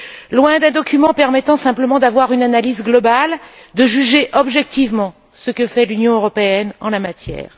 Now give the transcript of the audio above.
loin d'un document permettant simplement d'avoir une analyse globale, de juger objectivement ce que fait l'Union européenne en la matière.